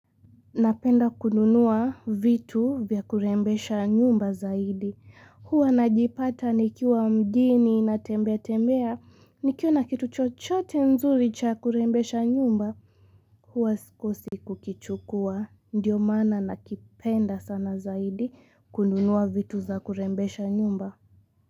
Napenda kununua vitu vya kurembesha nyumba zaidi. Huwa na jipata nikiwa mjini na tembea tembea. Nikiona kitu chochote nzuri cha kurembesha nyumba. Huwa sikosi kukichukua. Ndiyo maana na kipenda sana zaidi kununua vitu za kurembesha nyumba.